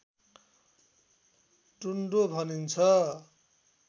टुँडो भनिन्छ